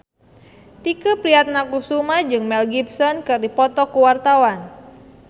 Tike Priatnakusuma jeung Mel Gibson keur dipoto ku wartawan